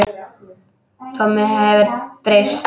Tommi hefur breyst.